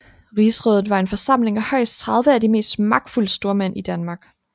Rigsrådet var en forsamling af højst 30 af de mest magtfulde stormænd i Danmark